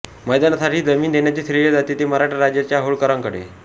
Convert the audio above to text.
मैदानासाठी जमीन देण्याचे श्रेय जाते ते मराठा राज्याच्या होळकरांकडे